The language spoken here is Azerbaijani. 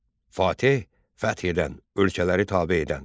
Fateh – fəth edən, ölkələri tabe edən.